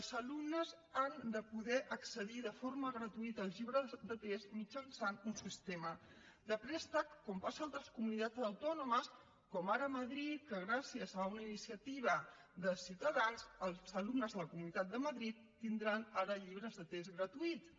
els alumnes han de poder accedir de forma gratuïta als llibres de text mitjançant un sistema de préstec com passa a altres comunitats autònomes com ara a madrid que gràcies a una iniciativa de ciutadans els alumnes de la comunitat de madrid tindran ara llibres de text gratuïts